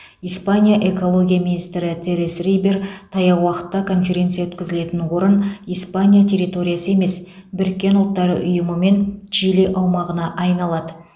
испания экология министрі терес рибер таяу уақытта конференция өткізілетін орын испания территориясы емес біріккен ұлттар ұйымы мен чили аумағына айналады